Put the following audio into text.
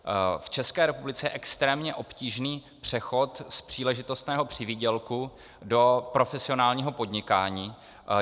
V České republice je extrémně obtížný přechod z příležitostného přivýdělku do profesionálního podnikání.